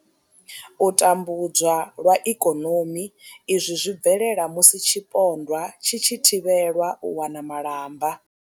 U tambudzwa lwa ikonomi izwi zwi bvelela musi tshipondwa tshi tshi thivhelwa u wana malamba.